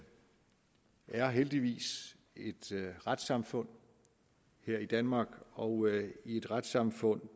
har heldigvis et retssamfund her i danmark og i et retssamfund